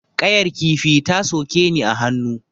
Ƙayar kifi ta soke ni a hannu.